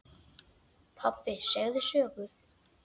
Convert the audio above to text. Pabbi segðu sögu.